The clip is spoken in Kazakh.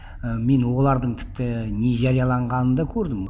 і мен олардың тіпті не жарияланғанын да көрдім